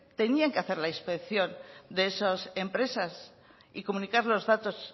tenían que hacer la inspección de esas empresas y comunicar los datos